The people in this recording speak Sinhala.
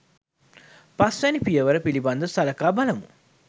පස් වැනි පියවර පිළිබඳ සළකා බලමු.